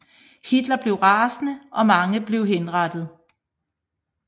Hitler blev rasende og mange blev henrettet